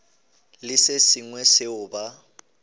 le se sengwe seo ba